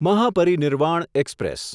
Mahaparinirvan express